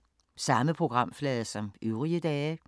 Samme programflade som øvrige dage